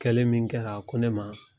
Kɛlen min kɛ a ko ne ma.